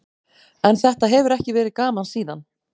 En þetta hefur ekki verið gaman síðan.